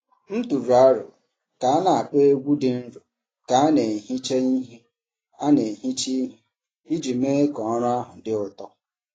M tụrụ aro ka a na-akpọ egwú dị nro ka a na-ehicha ihe a na-ehicha ihe iji mee ka ọrụ ahụ dị ụtọ.